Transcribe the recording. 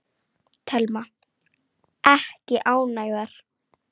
Telma: Ekki ánægðar?